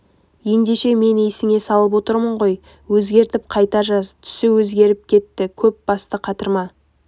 ендеше мен есіңе салып отырмын ғой өзгертіп қайта жаз түсі өзгеріп кетті көп басты қатырма